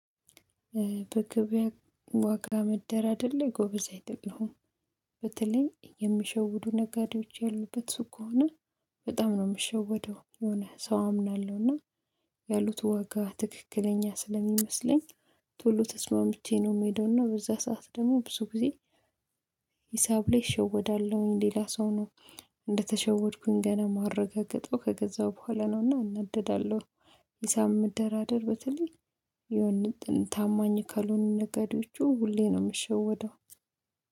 በገበያ ዋጋ መደራደር ላይ ጎበዝ አይደለም። በተለይ የሚሸውዱ ነጋዴዎች ያሉበት ሱቅ ከሆነ በጣም ነው የምሸወደው የሆነ ሰው አምናለሁ። እና ያሉት ዋጋ ትክክለኛ ስለሚመስለኝ ቶሎ ተስማምቼ ነው የምሄደው እና በዛ ሰዓት ደግሞ ብዙ ጊዜ ሂሳብ ላይ እሸወዳለሁ። ሌላ ሰው ነው እንደተሸወድኩኝ ገና ማረጋገጠው ከገዛሁ በኋላ ነውና እናደዳለሁ። ሂሳብ መደራደር በተለይ የሆነ ቅን ታማኝ ካልሆኑ ነገሮቹ ሁሌ ነው የምሸወደው።